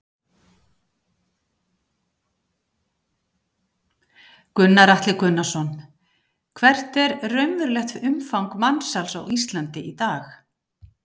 Gunnar Atli Gunnarsson: Hvert er raunverulegt umfang mansals á Íslandi í dag?